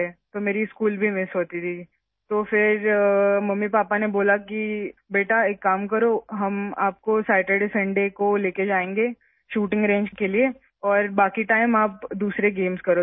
میرا سکول بھی مِس ہوتا تھا ، تب ممی پاپا نے کہا کہ بیٹا ایک کام کرو، ہم تمہیں ہفتہ اتوار کو شوٹنگ رینج میں لے جائیں گے، باقی وقت تم دوسرے گیمز کرو